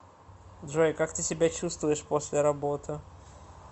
джой как ты себя чувствуешь после работы